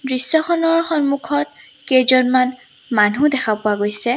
দৃশ্যখনৰ সন্মুখত কেইজনমান মানুহ দেখা পোৱা গৈছে।